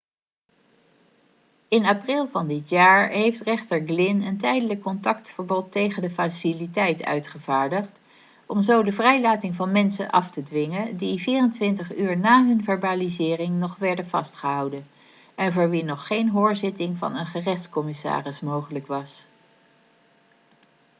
in april van dit jaar heeft rechter glynn een tijdelijk contactverbod tegen de faciliteit uitgevaardigd om zo de vrijlating van mensen af te dwingen die 24 uur na hun verbalisering nog werden vastgehouden en voor wie nog geen hoorzitting van een gerechtscommissaris mogelijk was